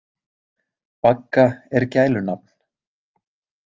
Bagga er gælunafn.